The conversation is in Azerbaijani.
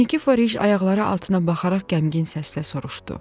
Nikiforiş ayaqları altına baxaraq qəmgin səslə soruşdu: